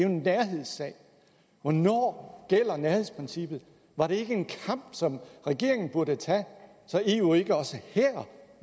en nærhedssag hvornår gælder nærhedsprincippet var det ikke en kamp som regeringen burde tage så eu ikke også